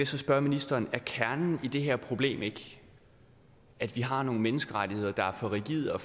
spørge ministeren er kernen i det her problem ikke at vi har nogle menneskerettigheder der er for rigide og